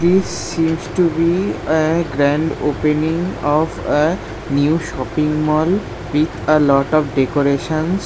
This seems to be a grand opening of a new shopping mall with a lot of decorations.